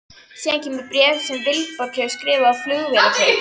Síðan kemur bréf sem Vilborg hefur skrifað á Flugvélarkaup?